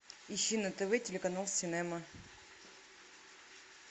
ищи на тв телеканал синема